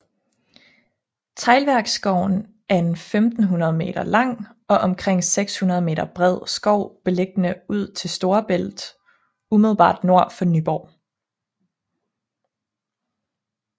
Teglværksskoven er en 1500 meter lang og omkring 600 meter bred skov beliggende ud til Storebælt umiddelbart nord for Nyborg